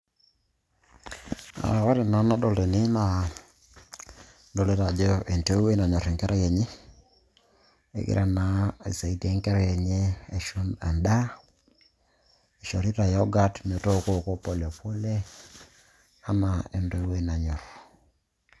Ore entoki nadolita tene naa adolita ajo entoiwuoi nanyorr enkerai enye, egira naa aisaidia enkerai enye aisho endaa eishorita yogurt metooko pole pole anaa entoiwuoi nanyorr.